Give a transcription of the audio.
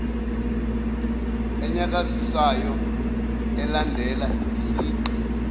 enyakazisayo elandela isigqi